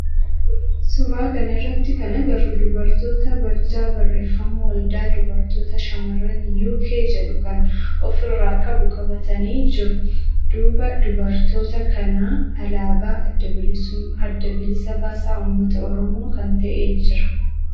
Suuraa kana irratti kan agarru dubartoota barjaa barreeffama waldaa dubartoota shamarran Uk jedhu of irraa qabu qabatanii jiru. Duuba dubartoota kanaa alaabaa adda bilisa baasaa ummata oromoo kan ta'e jira.